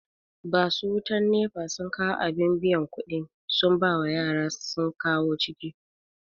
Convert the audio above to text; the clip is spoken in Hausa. Basu wutan NEPA sun kawu abin biyan kuɗi sun bawa yara sun kawo ciki